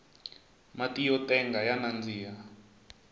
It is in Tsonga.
matiyo tenga ya nandika